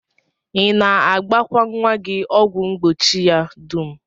I na-agbakwa nnwa gị ọgwụ mgbochi ya dum?